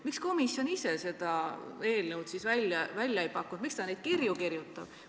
Miks komisjon ise seda eelnõu välja ei paku, miks ta neid kirju kirjutab?